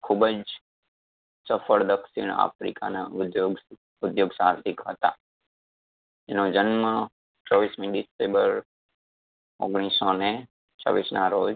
ખુબજ સફળ દક્ષિણ આફ્રિકાના ઉધ્યોગ સ ઉધ્યોગ સાહસિક હતા એનો જન્મ ચોવીશમી december ઓગણીસોને છવ્વીસ ના રોજ